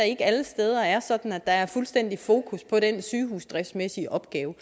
ikke alle steder er sådan at der er fuldstændig fokus på den sygehusdriftsmæssige opgave